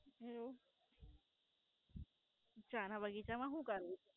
હે એવું? ચા ના બગીચા માં હુ કરવું?